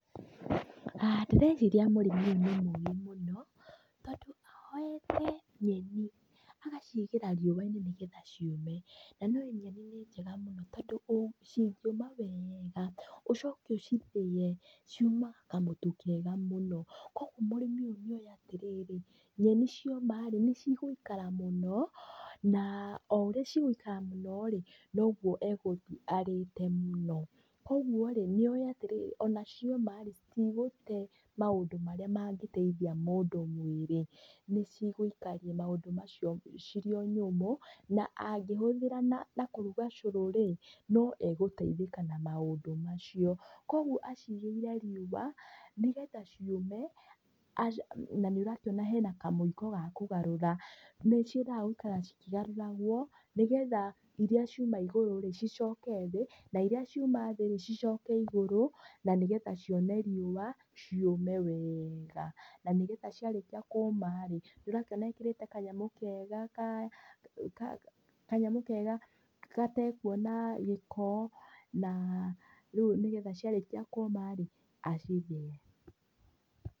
Ndĩreciiria mũrĩmi ũyũ nĩ mũgĩ mũno, tondũ oete nyeni, agaciigera riũa-inĩ nĩ getha ciũme. Na nĩũi nyeni nĩ njega mũno tondũ cingiũma weega, ũcoke ũcithĩe, ciũmaga kamũtu kega mũno. Kũoguo mũrĩmi ũyũ nĩoĩ atĩrĩrĩ, nyeni cioma-ri ni cigũikara mũno, na o ũrĩa cigũikara mũno-ri, noguo e gũthiĩ arĩte mũno. Kũoguo-ri nĩoĩ atĩrĩrĩ, ona cioma-rĩ, citigũte maũndũ marĩa mangĩteithia mũndũ mwĩrĩ. Nĩ cigũikaria maũndũ macio ciri o nyũmũ, na angĩhũthĩra na kũruga cũrũ-rĩ, no egũteithĩka na maũndũ macio. Kũoguo aciigeire riũa nĩ getha ciũme, aci, na nĩ ũrakĩona hena kamũiko ga kugarũra, nĩ ciendaga gũikara cikĩgarũragwo, nĩ getha ĩria ciuma igũrũ-rĩ, cicooke thĩ, na ĩria ciuma thĩ-rĩ cicooke igũrũ na nĩ getha cione riũa ciũme weega. Na nĩgetha ciarĩkia kũũma-ri, ni ũrakĩona ĩkĩrĩte kanyamũ kega ka, ka, kanyamũ kega gatekuona gĩko, na rĩu nĩ getha ciarĩkia kũũma-rĩ acithie.